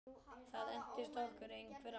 Það entist okkur einhver ár.